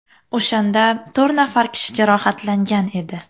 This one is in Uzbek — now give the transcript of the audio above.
O‘shanda to‘rt nafar kishi jarohatlangan edi.